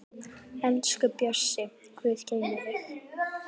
Elsku Bjössi, Guð geymi þig.